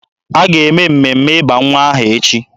A ga-eme mmemme ịba nwa aha echi.